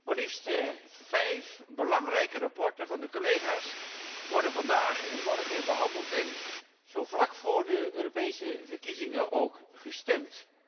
Maar liefst vijf belangrijke verslagen van de collega's worden vandaag en morgen behandeld en, zo vlak voor de Europese verkiezingen, ook gestemd.